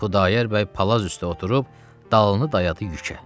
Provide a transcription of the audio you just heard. Xudayar bəy palaz üstə oturub, dalını dayadı yükə.